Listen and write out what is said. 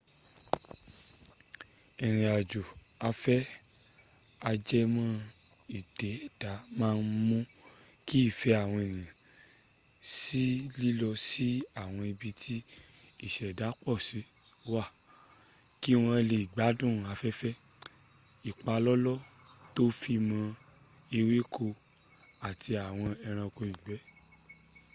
ìrìnàjò afẹ́ a-jẹmọ́-ìdẹ́dàá máa ń mú kí ìfẹ́ àwọn ènìyàn sí lílọ sí àwọn ibí tí ìṣẹ̀dá pọ̀si wà kí wọ́n le gbádùn afẹ́fẹ́ ìpalọ́lọ́ to fi mọ́ ewékò àti àwọn ẹrànko ìgbẹ